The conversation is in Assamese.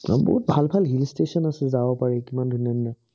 সোইবোৰত ভাল ভাল hill station আছে, যাব পাৰি। কিমান ধুনীয়া ধুনীয়া।